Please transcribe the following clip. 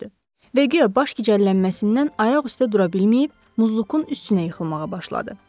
Və guya baş gicəllənməsindən ayaq üstə dura bilməyib Muzlukun üstünə yıxılmağa başladı.